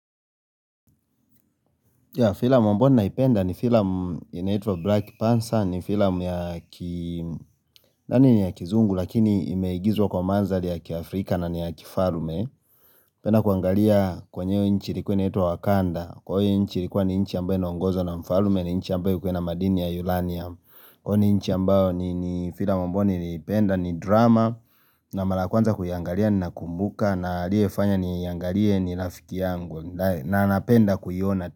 Filam mbona naipenda ni filam inaito Black Panther ni filam ya kizungu lakini imeigizwa kwa manzali ya kiafrika na ni ya kifalme penda kuangalia kwenyeo inchi likuwe na ito Wakanda kwenye inchi likuwa ni inchi ambayo na ongozo na mfalume ni inchi ambayo kwenye madini ya Yulania kwenye inchi ambayo ni filam ambai naipenda ni drama na mala ya kuanza kuiyangalia na kumbuka na aliyefanya niyangalie ni rafiki yangu na anapenda kuiyona.